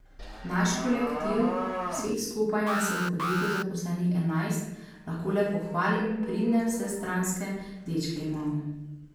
Naš kolektiv, vseh skupaj nas je v podjetju zaposlenih enajst, lahko le pohvalim, pridne, vsestranske dečke imamo.